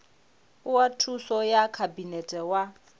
oa thuso ya khabinete wa